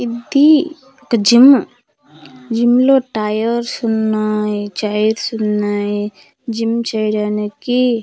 ఇద్దీ ఒక gym gym లో tyres వున్నాయి చైర్స్ వున్నాయి జిమ్ చెయ్డానికి చాల్--